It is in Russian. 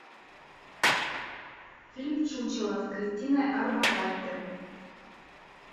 фильм чучело с кристиной орбакайте